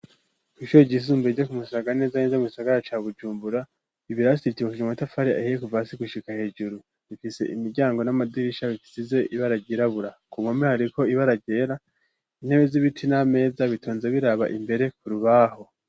Hushure ijissumbure ijo ku mushagara neza neza musagara ca bujumbura ibirasiibitoshuja umatafari ahiye kuva si gushika hejuru imfise imiryango n'amadirisha bisize ibe aragirabura ku mome hariko ibe aragera intebe z'ibiti n'ameza bitonze biraba imbere ku rubaho.